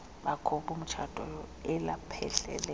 bakho bomtshato elaphehlelelwa